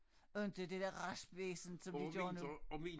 Og inte det der raspvæsen som de gør nu